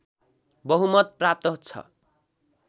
बहुमत प्राप्त छ